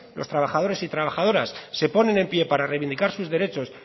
los trabajadores y trabajadoras se ponen en pie para reivindicar sus derechos